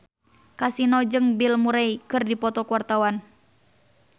Kasino jeung Bill Murray keur dipoto ku wartawan